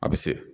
A bɛ se